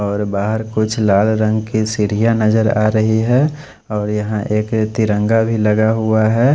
और बहार कुछ लाल रंग की सीड़िया नजर आ रही है और यहाँ एक तिरंगा भी लगा हुआ है।